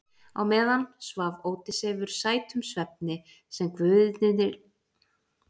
Á meðan svaf Ódysseifur sætum svefni sem guðirnir létu yfir hann koma.